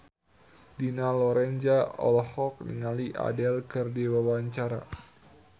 Dina Lorenza olohok ningali Adele keur diwawancara